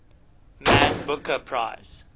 man booker prize